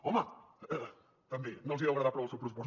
home també no els deu agradar prou el seu pressupost